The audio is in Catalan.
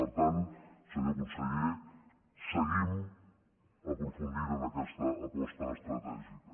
per tant senyor conseller seguim aprofundint en aquesta aposta estratègica